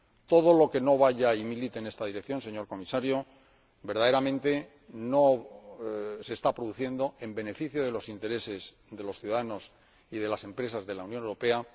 Todo lo que no vaya y milite en esta dirección, señor Comisario, verdaderamente no se está produciendo en beneficio de los intereses de los ciudadanos y de las empresas de la Unión Europea.